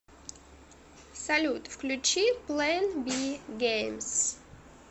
салют включи плэн би геймз